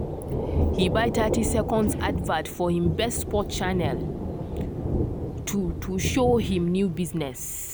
he buy thirty seconds advert for him best sports channel to to show him new business.